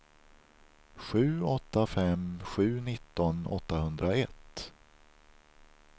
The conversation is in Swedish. sju åtta fem sju nitton åttahundraett